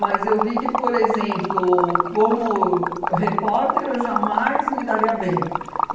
eu vi que, por exemplo, como repórter, eu jamais me daria bem.